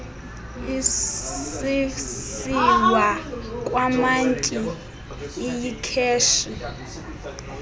isisiwa kwamantyi iyikheshi